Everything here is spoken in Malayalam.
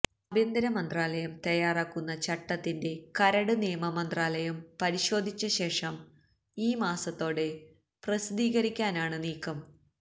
ആഭ്യന്തരമന്ത്രാലയം തയ്യാറാക്കുന്ന ചട്ടത്തിന്റെ കരട് നിയമമന്ത്രാലയം പരിശോധിച്ചശേഷം ഈ മാസത്തോടെ പ്രസിദ്ധീകരിക്കാനാണ് നീക്കം